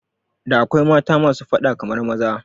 Da akwai mata masu fada kamar maza